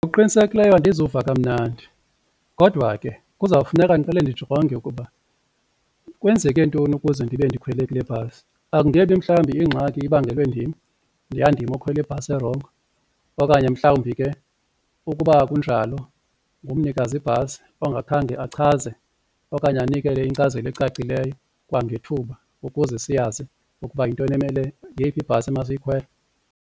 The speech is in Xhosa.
Ngokuqinisekileyo andizuva kamnandi kodwa ke kuzawufuneka ndiqale ndijonge ukuba kwenzeke ntoni ukuze ndibe ndikhwele kule bhasi, akungebi mhlawumbi ingxaki ibangelwe ndim yandim okhwela ibhasi erongo okanye mhlawumbi ke ukuba akunjalo ngumnikazi bhasi ongakhange achaze okanye anikele inkcazelo ecacileyo kwangethuba ukuze siyazi ukuba yintoni emele yeyiphi ibhasi emasiyikhwele.